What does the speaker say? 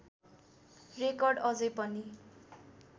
record अझै पनि